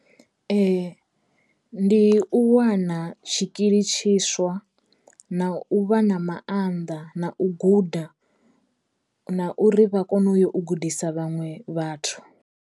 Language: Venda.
Ndi u wana tshikili tshiswa na u vha na maanḓa na u guda na uri vha kono u yo u gudisa vhaṅwe vhathu.